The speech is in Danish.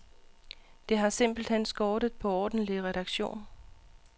Det har simpelt hen skortet på ordentlig redaktion.